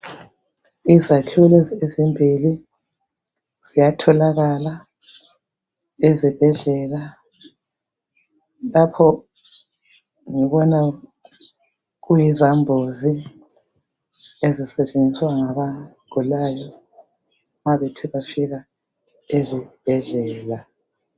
Izakhiwo lezi ezimbili ziyatholakala ezibhedlela Lapho ngibona kuyizambuzi ezisetshenziswa ngabagulayo mabethe bafika ezibhedlela